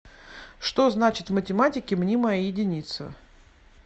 что значит в математике мнимая единица